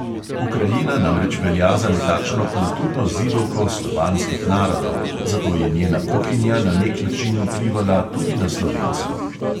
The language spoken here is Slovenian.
Ukrajina namreč velja za nekakšno kulturno zibelko slovanskih narodov, zato je njena kuhinja na nek način vplivala tudi na slovensko.